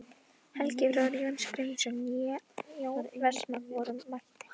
Helgi bróðir Jóns Grindvíkings né Jón Vestmann voru mættir.